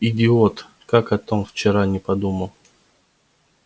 идиот как о том вчера не подумал